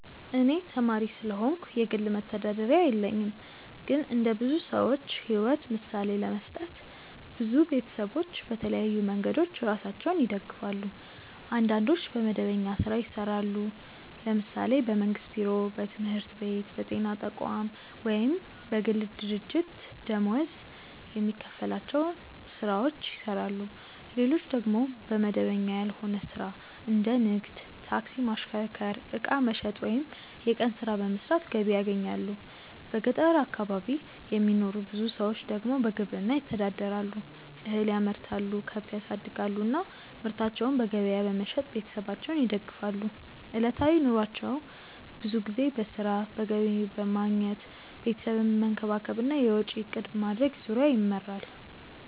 እኔ ተማሪ ስለሆንኩ የግል መተዳደሪያ የለኝም። ግን እንደ ብዙ ሰዎች ሕይወት ምሳሌ ለመስጠት፣ ብዙ ቤተሰቦች በተለያዩ መንገዶች ራሳቸውን ይደግፋሉ። አንዳንዶች በመደበኛ ሥራ ይሰራሉ፤ ለምሳሌ በመንግስት ቢሮ፣ በትምህርት ቤት፣ በጤና ተቋም ወይም በግል ድርጅት ደመወዝ የሚከፈላቸው ሥራዎችን ይሰራሉ። ሌሎች ደግሞ በመደበኛ ያልሆነ ሥራ እንደ ንግድ፣ ታክሲ ማሽከርከር፣ ዕቃ መሸጥ ወይም የቀን ሥራ በመስራት ገቢ ያገኛሉ። በገጠር አካባቢ የሚኖሩ ብዙ ሰዎች ደግሞ በግብርና ይተዳደራሉ፤ እህል ያመርታሉ፣ ከብት ያሳድጋሉ እና ምርታቸውን በገበያ በመሸጥ ቤተሰባቸውን ይደግፋሉ። ዕለታዊ ኑሯቸው ብዙ ጊዜ በሥራ፣ በገቢ ማግኘት፣ ቤተሰብን መንከባከብ እና የወጪ እቅድ ማድረግ ዙሪያ ይመራል።